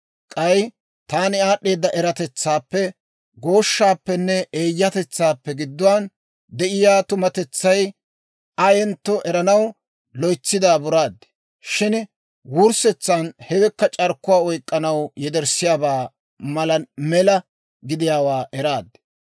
K'ay taani aad'd'eeda eratetsaappe, gooshshappenne eeyyatetsaappe gidduwaan de'iyaa dummatetsay ayentto eranaw loytsi daaburaad. Shin wurssetsan hewekka c'arkkuwaa oyk'k'anaw yederssiyaabaa mala mela gidiyaawaa eraad.